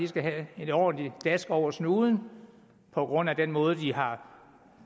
skal have et ordentlig dask over snuden på grund af den måde de har